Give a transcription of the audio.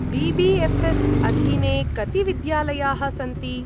BBFS. अधीने कति विद्यालयाः सन्ति?